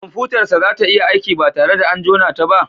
Kwamfutar sa za tayi aiki ba tare da an jona ta ba?